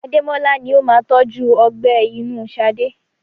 Ademola ni ó máa tọju ọgbẹ́ inú Sade.